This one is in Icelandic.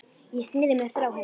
Ég sneri mér frá henni.